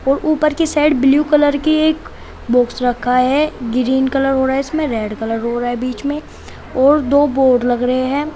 और ऊपर की साइड ब्लू कलर की एक बॉक्स रखा है ग्रीन कलर हो रहा है इसमें रेड कलर हो रहा है बीच में और दो बोर्ड लग रहे हैं।